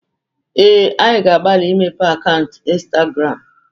Ee, anyị na-agbalị imepe akaụntụ Ịnstagramụ.